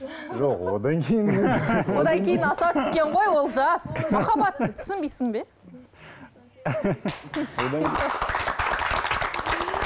жоқ одан кейін одан кейін аса түскен ғой олжас махаббатты түсінбейсің бе